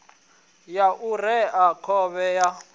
ya u rea khovhe ya